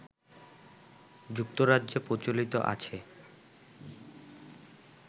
যুক্তরাজ্যে প্রচলিত আছে